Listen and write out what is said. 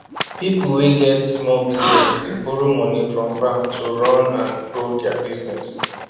people wey get small business dey borrow money from bank to run and grow their business